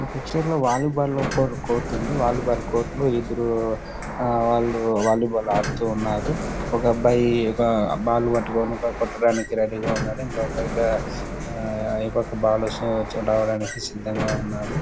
ఈ పిక్చర్ లో volleyball court వుంది వాలి బాల్ కోర్ట్ లో ఇద్దరు వాళ్లు వాలి బాల్ ఆడుతున్నారు ఒక అబ్బాయి ఒక బాల్ పట్టుకొని కొట్టడానికి రెడీ గా ఉన్నాడు ఇంకో అబ్బాయి ఈ పక్క బాల్ వస్తుందని రావడానికి సిద్ధంగా ఉన్నాడు.